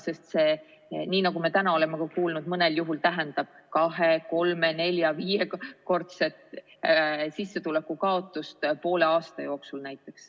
Sest see, nii nagu me täna oleme kuulnud, mõnel juhul tähendab kahe‑, kolme‑, nelja‑ või viiekordset sissetuleku kaotust poole aasta jooksul.